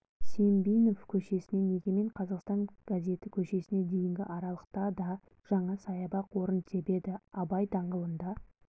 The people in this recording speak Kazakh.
сембинов көшесінен егемен қазақстан газеті көшесіне дейінгі аралықта да жаңа саябақ орын тебеді абай даңғылында